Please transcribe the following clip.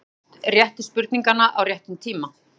Spurt réttu spurninganna á réttum tíma.